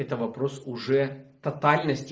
это вопрос уже тотальности